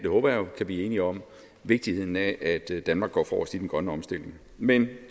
blive enige om vigtigheden af at danmark går forrest i den grønne omstilling men